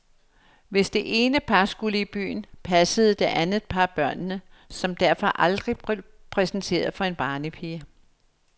Hvis det ene par skulle i byen, passede det andet par børnene, som derfor aldrig blev præsenteret for en barnepige.